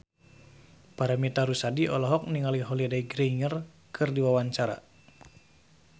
Paramitha Rusady olohok ningali Holliday Grainger keur diwawancara